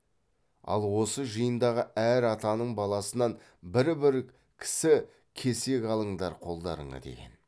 ал осы жиындағы әр атаның баласынан бір бір кісі кесек алыңдар қолдарыңа деген